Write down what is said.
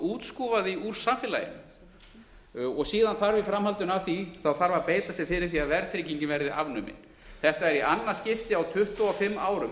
útskúfa því úr samfélaginu síðan þarf í framhaldinu af því að beita sér fyrir því að verðtryggingin verði afnumin þetta er í annað skipti á tuttugu og fimm árum